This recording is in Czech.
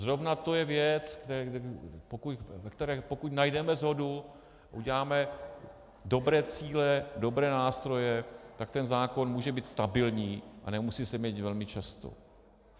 Zrovna to je věc, v které pokud najdeme shodu, uděláme dobré cíle, dobré nástroje, tak ten zákon může být stabilní a nemusí se měnit velmi často.